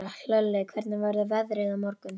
Hlölli, hvernig verður veðrið á morgun?